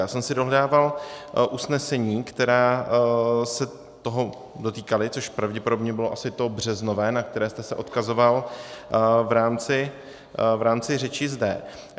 Já jsem si dohledával usnesení, která se toho dotýkala, což pravděpodobně bylo asi to březnové, na které jste se odkazoval v rámci řeči zde.